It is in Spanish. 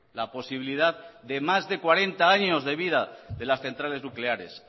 la posibilidad de más de cuarenta años de vida de las centrales nucleares